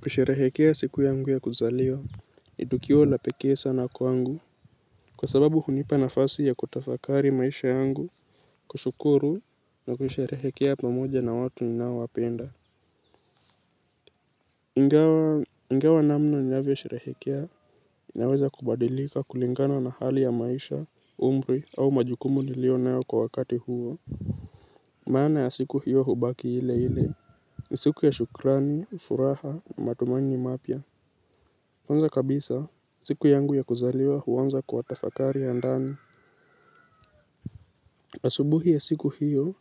Kusherehekea siku yangu ya kuzaliwa Nidukiwa la pekee sana kwangu. Kwa sababu hunipa nafasi ya kutafakari maisha yangu. Kushukuru na kusherehekea pamoja na watu ninao wapenda. Ingawa namna unavyo sherehekea inaweza kubadilika kulingana na hali ya maisha umri au majukumu niliyonayo kwa wakati huo. Maana ya siku hiyo hubaki ile ile. Ni siku ya shukrani, furaha, matumaini mapya kwanza kabisa, siku yangu ya kuzaliwa huanza kwa tafakari ya ndani. Asubuhi ya siku hiyo,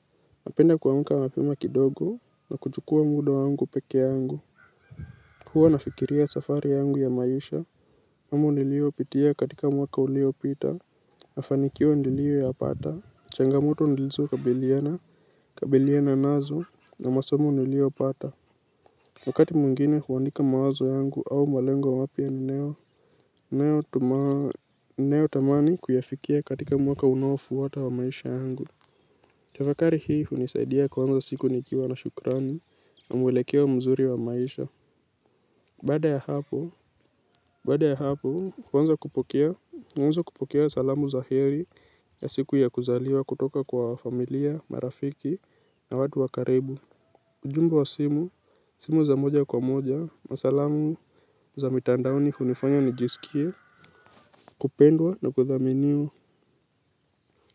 napenda kuamka mapema kidogo na kuchukua muda yangu peke yangu. Huwa nafikiria safari yangu ya maisha. Amu nilio pitia katika mwaka ulio pita na fanikio nilio ya pata. Changamoto nilizo kabiliana, kabiliana nazo na masemu nilio pata. Wakati mwingine huandika mawazo yangu au malengo wapya ni nayo. Nayo tamani kuyafikia katika mwaka unaofuata wa maisha yangu. Tafakari hii hunisaidia kuanza siku nikiwa na shukrani na mwelekeo wa mzuri wa maisha baada ya hapo bada ya hapo kuanza kupokea wanza kupukia salamu za heri ya siku ya kuzaliwa kutoka kwa familia, marafiki na watu wa karibu. Ujumbe wa simu. Simu za moja kwa moja masalamu za mitandaoni hunifanya nijisikie. Kupendwa na kuthaminiwa.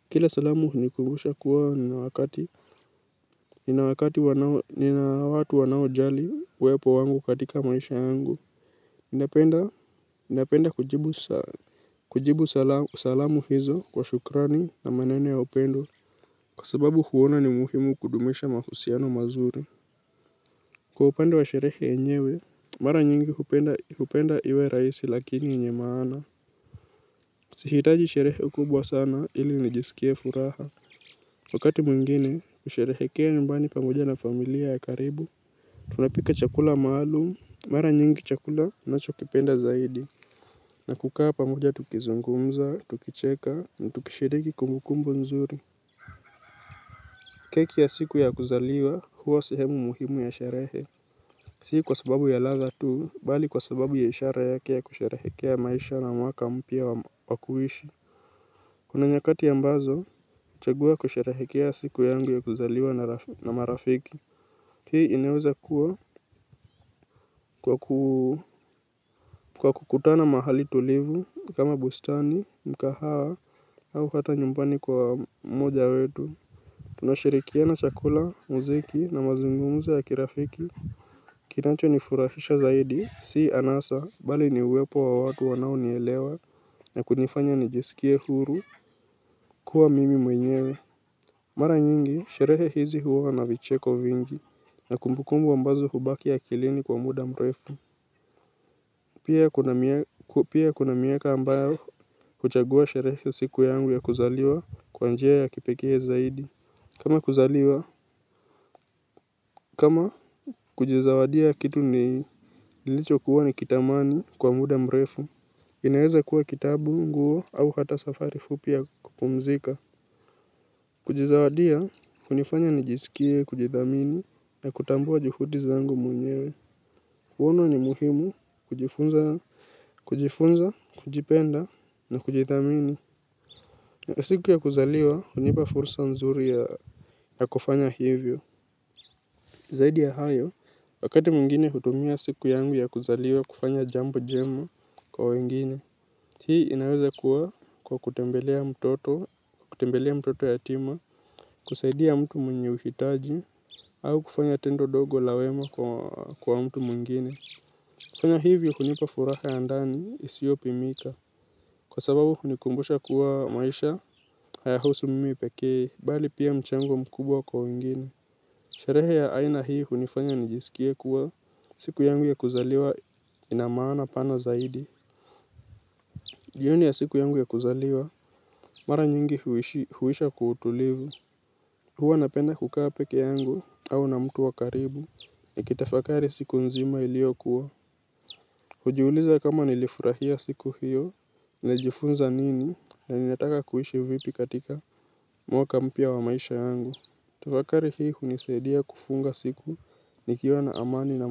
Kila salamu hunikumbusha kuwa na wakati. Nina wakati wanao nina watu wanao jali wepo wangu katika maisha angu. Indapenda kujibu. Kujibu salamu hizo kwa shukrani na manene ya upendo. Kwa sababu huwona ni muhimu kudumisha mahusiano mazuri. Kwa upenda wa sherehe enyewe. Mara nyingi upenda iwe raisi. Lakini enye maana. Sihitaji sherehe ukubwa sana ili nijisikie furaha. Wakati mwingine, kusherehekea nyumbani pamoja na familia ya karibu. Tunapika chakula maalum, mara nyingi chakula nachokipenda zaidi na kukaa pamoja tukizungumza, tukicheka, na tukishiriki kumbukumbu nzuri. Keki ya siku ya kuzaliwa, huwa sehemu muhimu ya sherehe. Si kwa sababu ya ladha tu, bali kwa sababu ya ishara yake ya kusherehekea maisha na mwaka mpya wa kuishi. Kuna nyakati ambazo, chagua kusherehekea siku yangu ya kuzaliwa na marafiki. Hii inaeweza kuwa kwa kukutana mahali tulivu kama bustani mkahawa au hata nyumbani kwa mmoja wetu. Tunashirikina chakula mziki na mazungumzo ya kirafiki. Kinacho nifurashisha zaidi si anasa bali ni uwepo wa watu wanao nielewa na kunifanya nijesikie huru kuwa mimi mwenyewe. Mara nyingi sherehe hizi huwa na vicheko vingi na kumbukumbu ambazo hubaki akilini kwa muda mrefu. Pia kuna miaka ambayo huchagua sherehe siku yangu ya kuzaliwa kwa njia ya kipekee zaidi. Kama kuzaliwa, kama kujizawadia kitu ni ilicho kuwa ni kitamani kwa muda mrefu. Inaweza kuwa kitabu nguo au hata safari fupi ya kupumzika. Kujizawadia kunafanya nijisikie, kujidhamini na kutambua jihudi zangu mwenyewe. Kuona ni muhimu kujifunza, kujipenda na kujidhamini. Na siku ya kuzaliwa, hunipa fursa mzuri ya kufanya hivyo. Zaidi ya hayo, wakati mwingine hutumia siku yangu ya kuzaliwa kufanya jambo jema kwa wengine. Hii inaweza kuwa kwa kutembelea mtoto yatima, kusaidia mtu mwenye uhitaji, au kufanya tendo dogo la wema kwa mtu mwingine. Fanya hivyo hunipa furaha ya ndani isiopi mika. Kwa sababu hunikumbusha kuwa maisha hayahusu mimi pekee bali pia mchango mkubwa kwa wengine. Sherehe ya aina hii hunifanya nijisikia kuwa siku yangu ya kuzaliwa inamaana pana zaidi. Jioni ya siku yangu ya kuzaliwa mara nyingi huisha kwa utulivu. Huwaa napenda kukaa peke yangu au na mtu wakaribu. Nikitafakari siku nzima ilio kuwa. Kujiuliza kama nilifurahia siku hiyo, nimejifunza nini na ninataka kuishi vipi katika mwaka mpya wa maisha yangu. Tafakari hii hunisaidia kufunga siku nikiwa na amani na.